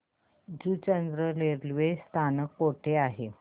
Juchandra railway स्थानक कुठे आहे